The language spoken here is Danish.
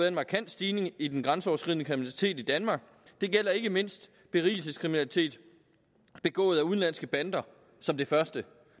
en markant stigning i den grænseoverskridende kriminalitet i danmark det gælder ikke mindst berigelseskriminaliteten begået af udenlandske bander som det første